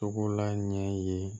Togola ɲɛ ye